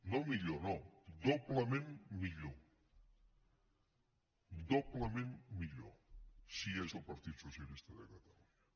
no millor no doblement millor doblement millor si hi és el partit socialista de catalunya